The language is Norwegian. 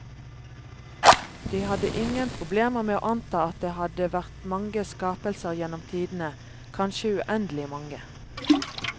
De hadde ingen problemer med å anta at det hadde vært mange skapelser gjennom tidene, kanskje uendelig mange.